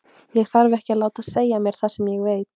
Ég þarf ekki að láta segja mér það sem ég veit.